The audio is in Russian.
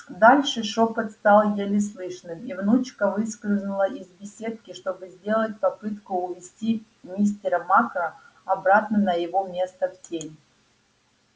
дальше шёпот стал еле слышным и внучка выскользнула из беседки чтобы сделать попытку увести мистера макра обратно на его место в тень